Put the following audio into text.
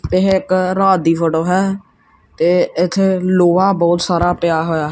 ਇਹ ਇੱਕ ਰਾਤ ਦੀ ਫੋਟੋ ਹੈ ਤੇ ਇਥੇ ਲੋਹਾ ਬਹੁਤ ਸਾਰਾ ਪਿਆ ਹੋਇਆ--